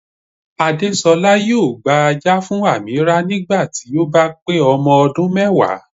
Àdésolá yóò gba ajá fún Ameerah nígbà tí ó bá pé ọmọ ọdún mẹ́wàá